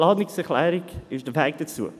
Die Planungserklärung ist der Weg dazu.